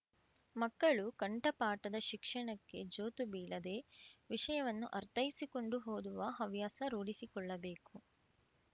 ಮಕ್ಕಳು ಕಂಠಪಾಠದ ಶಿಕ್ಷಣಕ್ಕೆ ಜೋತು ಬೀಳದೆ ವಿಷಯವನ್ನು ಅರ್ಥೈಸಿಕೊಂಡು ಓದುವ ಹವ್ಯಾಸ ರೂಢಿಸಿಕೊಳ್ಳಬೇಕು